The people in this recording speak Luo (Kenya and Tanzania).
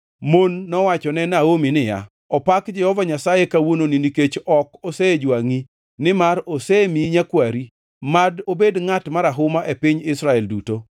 Mon nowachone Naomi niya, “Opak Jehova Nyasaye kawuononi nikech ok osejwangʼi, nimar osemiyi nyakwari. Mad obed ngʼat marahuma e piny Israel duto!